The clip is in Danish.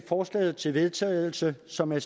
forslaget til vedtagelse som er